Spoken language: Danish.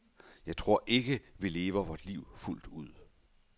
Jeg tror ikke, vi lever vort liv fuldt ud.